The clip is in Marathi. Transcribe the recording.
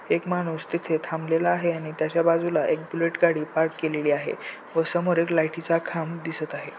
एक माणूस तिथे थांबलेला आहे आणि त्याच्या बाजूला एक बुलेट गाडी पार्क केलेली आहे व समोर एक लाइटी चा खांब दिसत आहे.